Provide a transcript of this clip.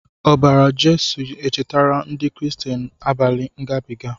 Obara Jesu echetara ndi kristian abali ngabiga.